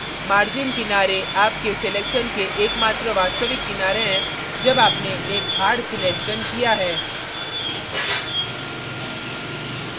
margin किनारे आपके selection के एकमात्र वास्तविक किनारे हैं जब आपने एक hard selection किया है